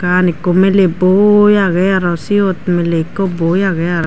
aan ekko muley boi aagey aro seyot miley ekko boi aagey aro.